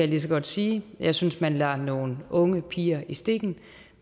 lige så godt sige jeg synes man lader nogle unge piger i stikken